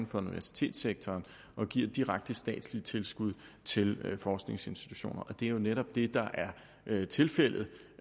for universitetssektoren og giver direkte statslige tilskud til forskningsinstitutioner og det er jo netop det der er tilfældet